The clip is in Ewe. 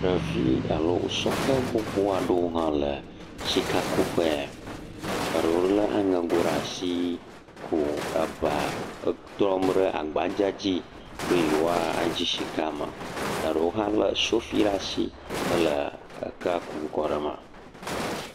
Ɖevi alo sɔhe gbogbo aɖewo hã le sikakuƒe ya, eɖewo lé aŋego ɖe asi ku eba etrɔm ɖe agbadzea dzi be yewoadi sika ma, eɖewo hã lé sofi ɖe asi hele ekea kum kɔɖe eme.